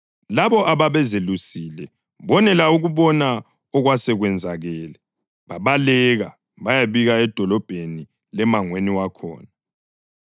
Labo ababezelusile bonela ukubona okwasekwenzakele babaleka bayabika edolobheni lemangweni wakhona,